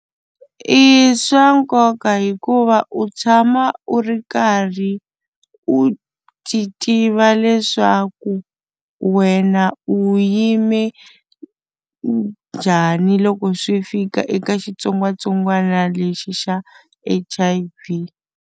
I swa nkoka hikuva u tshama u ri karhi u titiva leswaku wena u yime njhani loko swi fika eka xitsongwatsongwana lexi xa H_I_V.